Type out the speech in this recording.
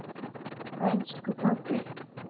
Elsku pabbi.